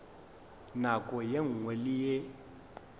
nako ye nngwe le ye